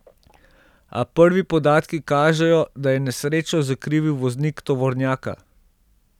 A prvi podatki kažejo, da je nesrečo zakrivil voznik tovornjaka.